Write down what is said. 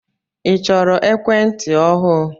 I chọrọ ekwentị ọhụụ?